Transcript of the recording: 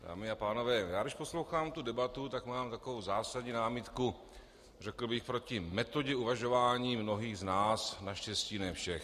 Dámy a pánové, když poslouchám tu debatu, tak mám takovou zásadní námitku, řekl bych, proti metodě uvažování mnohých z nás, naštěstí ne všech.